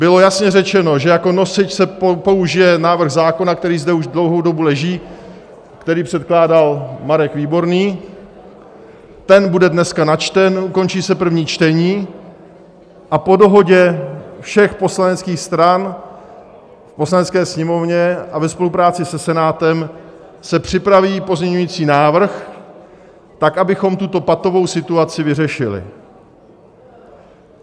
Bylo jasně řečeno, že jako nosič se použije návrh zákona, který zde už dlouhou dobu leží, který předkládal Marek Výborný, ten bude dneska načten, ukončí se první čtení a po dohodě všech poslaneckých stran v Poslanecké sněmovně a ve spolupráci se Senátem se připraví pozměňovací návrh tak, abychom tuto patovou situaci vyřešili.